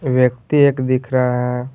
व्यक्ति एक दिख रहा है।